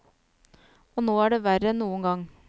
Og nå er det verre enn noen gang.